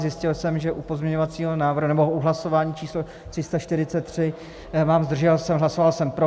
Zjistil jsem, že u pozměňovacího návrhu nebo u hlasování číslo 343 mám zdržel se, hlasoval jsem pro.